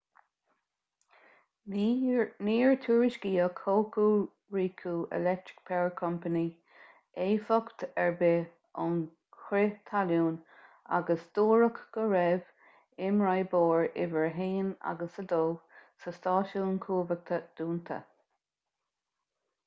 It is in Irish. níor tuairiscíodh hokuriku electric power co éifeacht ar bith ón chrith talún agus dúradh go raibh imoibreoir uimhir 1 agus 2 sa stáisiún cumhachta dúnta